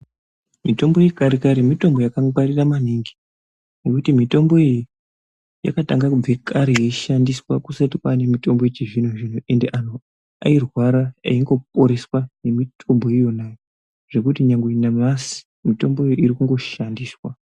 Mitombo yekare kare mitombo yakangwarira maningi ngekuti mitombo iyi yakatange kubve kare yeishandiswa kusati kwaane mitombo yechizvino zvino ende antu airwara eingoporeswa ngemitombo yona iyoyo zvekuti nyangwe nanhasi mitombo iyoyo iri kungoshandiswa.